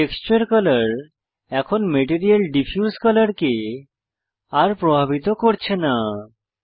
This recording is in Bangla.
টেক্সচার কলর এখন ম্যাটেরিয়াল ডিফিউজ কলর কে আর প্রভাবিত করছে না